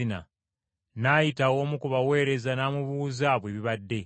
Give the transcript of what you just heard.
N’ayita omu ku baweereza n’amubuuza bwe bibadde.